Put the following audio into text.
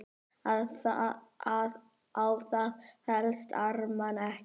Á það fellst Ármann ekki.